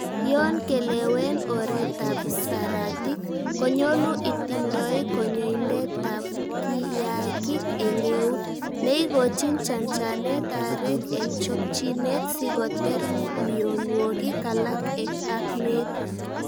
Yon kelewen oret ab saratik, konyolu itindoi konyoindetab kiyaakik en eut, neikochin chanchanet aarek en chokchinet sikoter mionwogik alak ak meet.